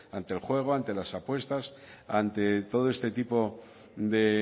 ante el juego ante las apuestas ante todo este tipo de